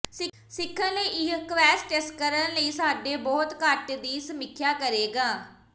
ਸਿੱਖਣ ਲਈ ਇਹ ਕਵੈਸਟਸ ਕਰਨ ਲਈ ਸਾਡੇ ਬਹੁਤ ਘੱਟ ਦੀ ਸਮੀਖਿਆ ਕਰੇਗਾ